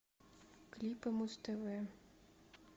клипы муз тв